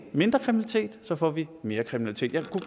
mindre kriminalitet så får vi mere kriminalitet jeg kunne